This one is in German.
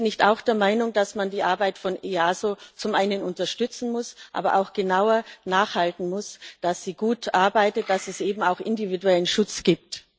Sind Sie nicht auch der Meinung, dass man die Arbeit des EASO zum einen unterstützen muss, aber auch genauer nachhalten muss, dass es gut arbeitet, dass es eben auch individuellen Schutz gibt?